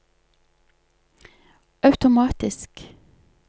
automatisk